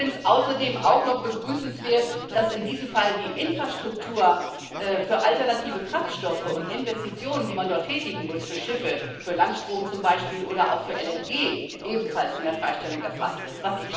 Ich finde es außerdem auch noch begrüßenswert, dass in diesem Fall die Infrastruktur für alternative Kraftstoffe und Investitionen, die man dort tätigen will für Schiffe, für Landstrom zum Beispiel oder auch für LNG, ebenfalls von der Freistellung erfasst ist.